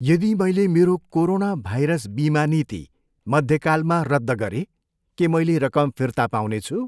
यदि मैले मेरो कोरोना भाइरस बिमा नीति मध्यकालमा रद्द गरे के मैले रकम फिर्ता पाउनेछु?